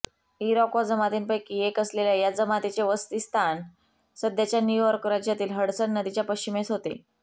Iroquois जमातींपैकी एक असलेल्या या जमातीचे वसतीस्थान सध्याच्या न्यू यॉर्क राज्यातील हडसन नदीच्या पश्चिमेस होते